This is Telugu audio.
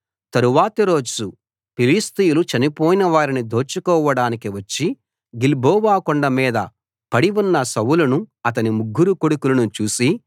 తరువాతి రోజు ఫిలిష్తీయులు చనిపోయిన వారిని దోచుకోవడానికి వచ్చి గిల్బోవ కొండమీద పడి ఉన్న సౌలును అతని ముగ్గురు కొడుకులను చూసి